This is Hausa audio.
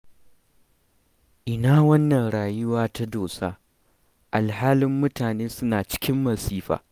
Ina wannan rayuwa ta dosa, alhali mutane suna cikin masifa.